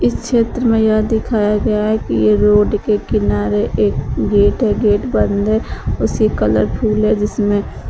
इस क्षेत्र में यह दिखाया गया है कि ये रोड के किनारे एक गेट है गेट बंद है उसे कलरफुल है जिसमें--